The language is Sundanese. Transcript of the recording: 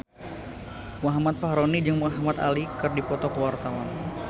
Muhammad Fachroni jeung Muhamad Ali keur dipoto ku wartawan